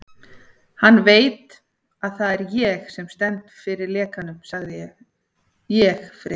Hann veit, að það er ég sem stend fyrir lekanum ég, Friðrik